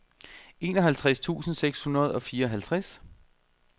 enoghalvtreds tusind seks hundrede og fireoghalvtreds